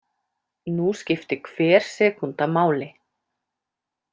Nú skipti hver sekúnda máli.